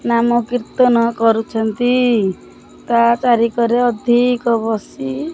ନାମ କୀର୍ତ୍ତନ କରୁଛନ୍ତି ତା ଚାରି କରେ ଅଧିକ ବସି--